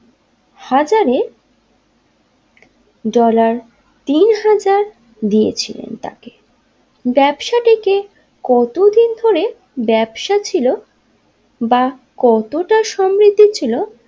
হাজারে ডলার তিন হাজার দিয়েছিলেন তাকে ব্যাবসারীকে কতদিন ধরে ব্যবসা ছিল বা কতটা সমৃদ্ধি ছিল।